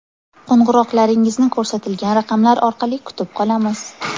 Qo‘ng‘iroqlaringizni ko‘rsatilgan raqamlar orqali kutib qolamiz.